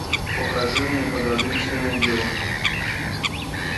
покажи мне подозрительная девушка